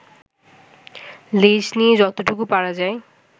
লেজ দিয়ে যতটুকু পারা যায়